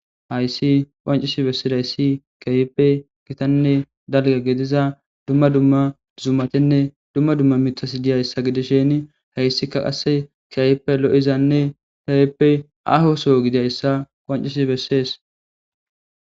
hayssi qoancisi bessidayssi kayppe gitanne dalga gediza dumma dumma dzumatenne dumma dumma mitas diyayssa gidishen hayssika qasse kiayppe lo7izanne tayeppe ahoso gidayssa qoancisi bessees